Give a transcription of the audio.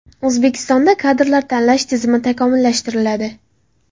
O‘zbekistonda kadrlar tanlash tizimi takomillashtiriladi.